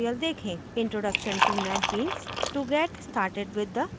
introduction to netbeans to get started with the ide